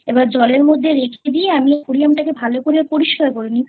জলের মধ্যে রেখে দিয়ে আমি Aquarium টা কে ভালো করে পরিষ্কার করে নি